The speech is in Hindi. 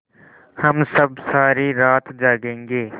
हम सब सारी रात जागेंगे